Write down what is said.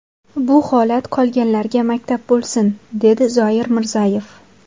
Bu holat qolganlarga maktab bo‘lsin”, dedi Zoir Mirzayev.